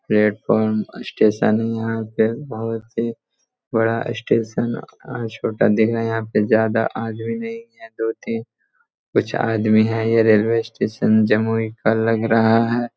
Platform अ station है यहाँ पे बहुत ही बड़ा अ स्टेशन अ छोटा दिख रहा है। यहाँ पे ज्यादा आदमी नहीं है दो-तीन कुछ आदमी है। ये रेलवे स्टेशन जमुई का लग रहा है।